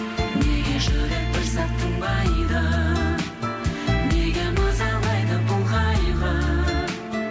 неге жүрек бір сәт тынбайды неге мазалайды бұл қайғы